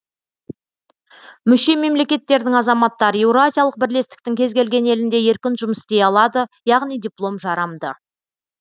мүше мемлекеттердің азаматтары еуразиялық бірлестіктің кез келген елінде еркін жұмыс істей алады яғни диплом жарамды